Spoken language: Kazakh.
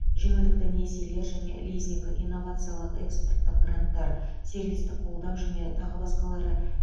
жеңілдікті несиелер және лизинг инновациялық экспорттық гранттар сервистік қолдау және тағы басқалары